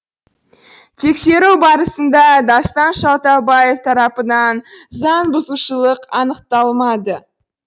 тексеру барысында дастан шалтабаев тарапынан заң бұзушылық анықталмады